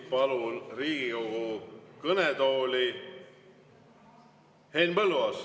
Palun Riigikogu kõnetooli Henn Põlluaasa.